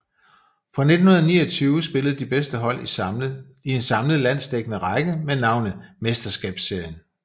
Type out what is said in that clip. Fra 1929 spillede de bedste hold i en samlet landsdækkende række med navnet Mesterskabsserien